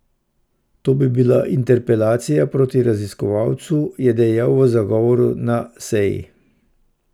To bi bila interpelacija proti raziskovalcu, je dejal v zagovoru na seji.